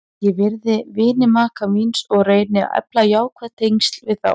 Ég virði vini maka míns og reyni að efla jákvæð tengsl við þá.